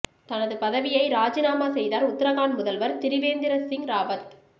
தனது பதவியை ராஜினாமா செய்தார் உத்தராகண்ட் முதல்வர் திரிவேந்திர சிங் ராவத்